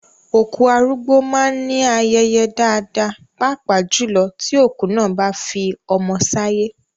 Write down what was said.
Òkú arúgbó máá ń ní ayẹyẹ dáadáa, pàápàá jùlọ tí òkú náà bá fi ọmọ sáyé